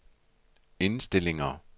indstillinger